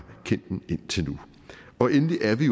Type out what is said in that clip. kendt indtil nu endelig er vi